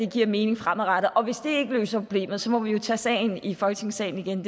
giver mening fremadrettet og hvis det ikke løser problemet må vi jo tage sagen i folketingssalen igen